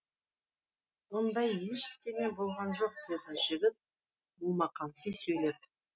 ондай ештеме болған жоқ деді жігіт момақанси сөйлеп